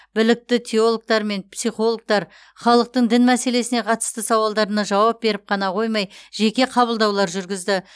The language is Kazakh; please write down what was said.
білікті теологтар мен психологтар халықтың дін мәселесіне қатысты сауалдарына жауап беріп қана қоймай жеке қабылдаулар жүргізді